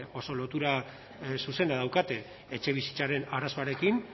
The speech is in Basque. oso lotura zuzena daukate etxebizitzaren arazoarekin